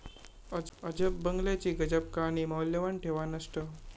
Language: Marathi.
अजब बंगल्याची गजब कहाणी, मौल्यवान ठेवा नष्ट!